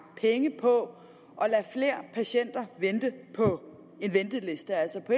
penge på at lade flere patienter vente på en venteliste altså på